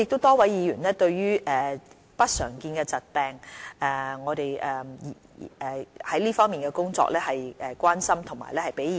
多位議員關心我們在支援不常見疾病的工作，並給予我們意見。